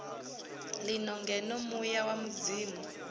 lino ngeno muya wa mudzimu